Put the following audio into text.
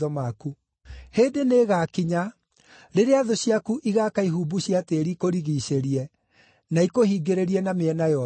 Hĩndĩ nĩĩgakinya rĩrĩa thũ ciaku igaaka ihumbu cia tĩĩri ikũrigiicĩrie, na ikũhingĩrĩrie na mĩena yothe.